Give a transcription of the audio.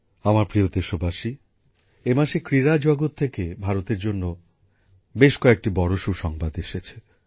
আমার প্রিয় দেশবাসী এই মাসে ক্রীড়া জগত থেকে ভারতের জন্য বেশ কয়েকটি বড় সুসংবাদ এসেছে